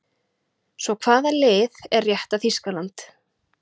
Svo hvaða lið er rétta Þýskaland?